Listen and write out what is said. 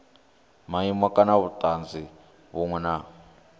maimo kana vhutanzi vhunwe na